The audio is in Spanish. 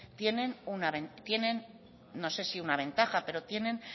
tienen no sé si una ventaja pero